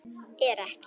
Er ekki